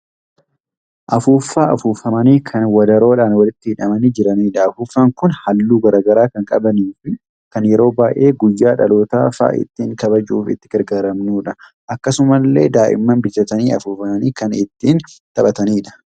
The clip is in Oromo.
Afuuffaa afuufamanii kan wadaroodhaan walitti hidhamanii jiranidha. Afuuffaan kun haalluu garaagaraa kan qabaniifi kan yeroo baay'ee guyyaa dhalootaa fa'a ittiin kabajuuf itti gargaaramnudha. Akkasumallee daai'imman bitatanii afuufanii ittiin kan taphatanidha.